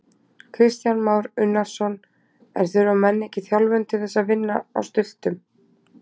Kristján Már Unnarsson: En þurfa menn ekki þjálfun til þess að vinna á stultum?